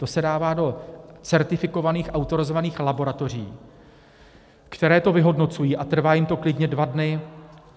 To se dává do certifikovaných autorizovaných laboratoři, které to vyhodnocují, a trvá jim to klidně dva dny.